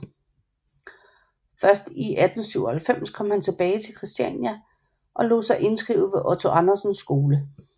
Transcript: Først i 1897 kom han tilbage til Kristiania og lod sig indskrive ved Otto Andersens skole